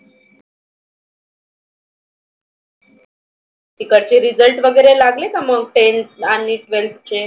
तिकडचे result वगैरे लागले का? tenth आणि twelfth चे?